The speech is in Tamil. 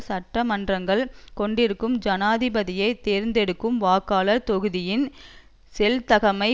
சட்ட மன்றங்கள் கொண்டிருக்கும் ஜனாதிபதியை தேர்ந்தெடுக்கும் வாக்காளர் தொகுதியின் செல்தகைமை